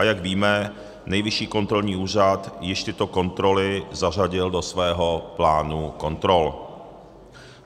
A jak víme, Nejvyšší kontrolní úřad již tyto kontroly zařadil do svého plánu kontrol.